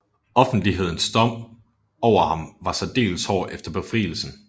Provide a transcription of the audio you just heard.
Offentlighedens dom over ham var særdeles hård efter befrielsen